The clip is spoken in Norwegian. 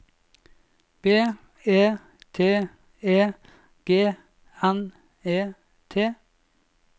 B E T E G N E T